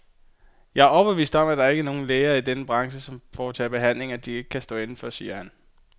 Jeg er overbevist om, at der ikke er nogen læger i denne branche, som foretager behandlinger, de ikke kan stå inde for, siger han.